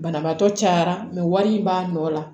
Banabaatɔ cayara wari in b'a nɔ la